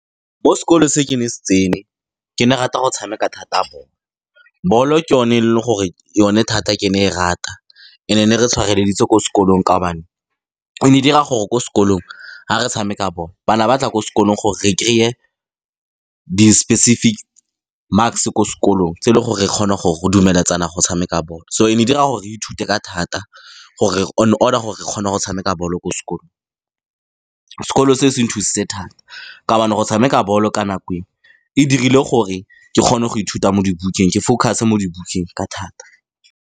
Mo sekolong se ke ne se tsene, ke ne rata go tshameka thata ball-o. Ball-o ke yone e leng gore yone thata ke ne e rata. And-e, e ne re tshwareleditse ko sekolong ka gobane e ne e dira gore ko skolong, fa re tshameka ball-o, bana ba tla ko sekolong gore re kry-e di-specific marks-e ko sekolong tse e leng gore e kgona gore go dumeletsana go tshameka ball-o. So, e ne e dira gore re ithute ka thata, gore on order gore re kgone go tshameka ball-o ko sekolo. Sekolo se se nthusitse thata ka gobane go tshameka ball-o ka nako eo, e dirile gore ke kgone go ithuta mo dibukeng, ke focus-e mo dibukeng ka thata.